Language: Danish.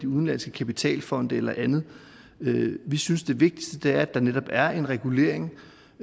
udenlandske kapitalfonde eller andet vi synes det vigtigste er at der netop er en regulering